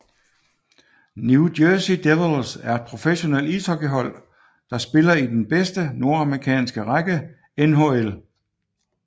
New Jersey Devils er et professionelt ishockeyhold der spiller i den bedste nordamerikanske række NHL